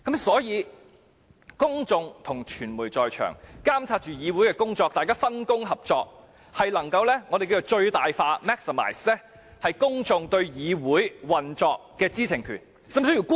所以，如果傳媒及公眾在場監察議會過程，大家分工合作，便能讓公眾發揮對議會運作的最大知情權。